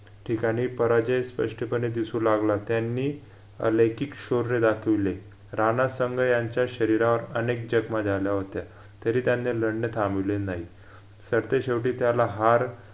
ठिकाणी पराजय स्पष्टपणे दिसू लागला त्यांनी अलैकिक शौर्य दाखविले रानासांगा यांच्या शरीरावर अनेक जखमा झाल्या होत्या तरी त्यांनी लढणं थांबविले न्हायी सर ते शेवटी त्याला हार